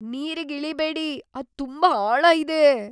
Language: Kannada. ನೀರಿಗ್ ಇಳೀಬೇಡಿ. ಅದ್ ತುಂಬಾ ಆಳ ಇದೆ!